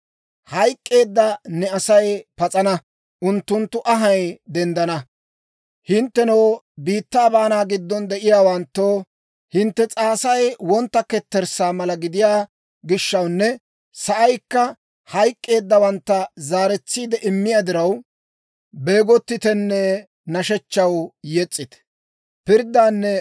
Hayk'k'eedda ne Asay pas'ana; unttunttu anhay denddana. Hinttenoo, biittaa baanaa giddon de'iyaawanttoo, hintte s'aasay wontta ketterssaa mala gidiyaa gishshawunne, sa'aykka hayk'k'eeddawantta zaaretsiide immiyaa diraw, Beegottitenne nashshechchaw yes's'ite.